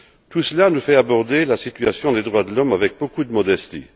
Tout cela nous fait aborder la situation des droits de l'homme avec beaucoup de modestie.